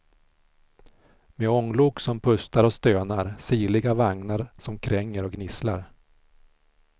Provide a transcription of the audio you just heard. Med ånglok som pustar och stönar, sirliga vagnar som kränger och gnisslar.